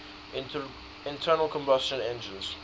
internal combustion engines